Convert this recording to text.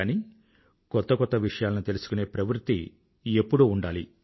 కానీ కొత్త కొత్త విషయాలను తెలుసుకునే ప్రవృత్తి ఎప్పుడూ ఉండాలి